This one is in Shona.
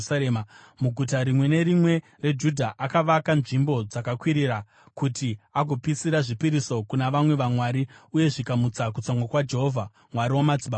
Muguta rimwe nerimwe reJudha akavaka nzvimbo dzakakwirira kuti agopisira zvipiriso kuna vamwe vamwari uye zvikamutsa kutsamwa kwaJehovha, Mwari wamadzibaba ake.